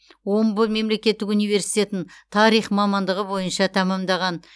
омбы мемлекеттік университетін тарих мамандығы бойынша тәмамдаған